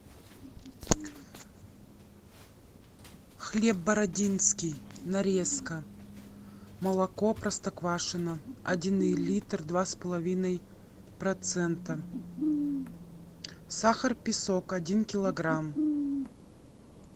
хлеб бородинский нарезка молоко простоквашино один литр два с половиной процента сахар песок один килограмм